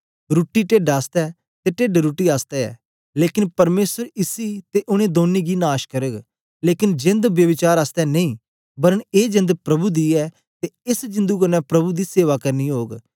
रुट्टी टेड्ड आसतै ते टेड्ड रुट्टी आसतै ऐ लेकन परमेसर इसी ते उनै दौनी गी नाश करग लेकन जेंद ब्यभिचार आसतै नेई वरन ए जेंद प्रभु दी ऐ ते एस जिंदु कन्ने प्रभु दी सेवा करनी ओग